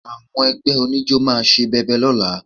Àwọn ẹgbẹ́ oníjó máa ṣe bẹbẹ lọ́la